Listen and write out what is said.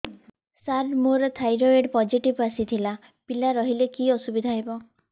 ସାର ମୋର thyroid positive ଆସିଥିଲା ପିଲା ରହିଲେ କି ଅସୁବିଧା ହେବ